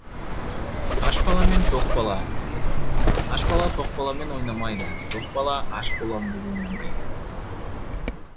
аш бала мен тоқ бала аш бала тоқ баламен ойнамайды тоқ бала аш болам деп ойламайды